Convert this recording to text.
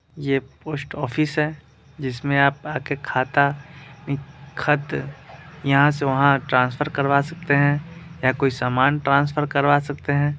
ये post office है जिसमें आप आ के खाता खत यहाँ से वहाँ ट्रांसफर करवा सकते है या कोई सामान ट्रांसफर करवा सकते है।